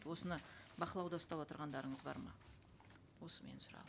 осыны бақылауда ұстап отырғандарыңыз бар ма осы менің сұрағым